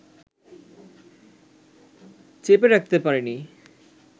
চেপে রাখতে পারেনি